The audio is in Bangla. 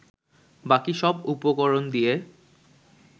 বাকি সব উপকরণ দিয়ে